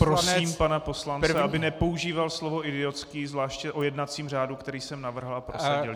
Prosím pana poslance, aby nepoužíval slovo idiotský, zvláště o jednacím řádu, který jsem navrhl a prosadil.